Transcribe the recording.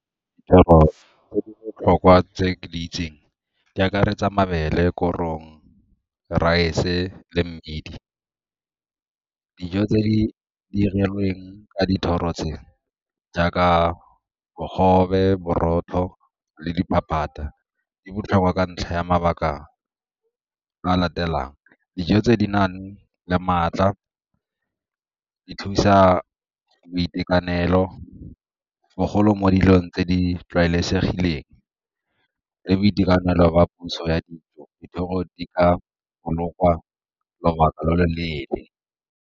Tse di botlhokwa tse ke di itseng di akaretsa mabele, korong, rice-e le mmidi. Dijo tse di dirilweng ka dithoro tseo jaaka bogobe, borotho le diphaphata di botlhokwa ka ntlha ya mabaka a latelang, dijo tse di nang le maatla di thusa boitekanelo bogolo mo dilong tse di tlwaelesegileng le boitekanelo ba puso ya dijo, dithoro di ka bolokwa lobaka lo lo leele.